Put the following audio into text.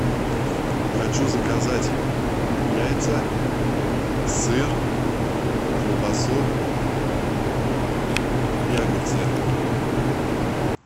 хочу заказать яйца сыр колбасу и огурцы